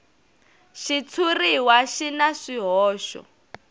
xitshuriwa xi na swihoxo